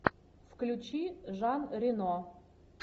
включи жан рено